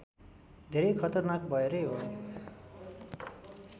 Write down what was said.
धेरै खतरनाक भएरै हो